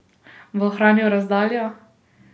Bo ohranil razdaljo?